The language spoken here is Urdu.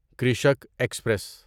کرشک ایکسپریس